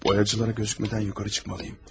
Boyacılara görünmədən yuxarı çıxmalıyım.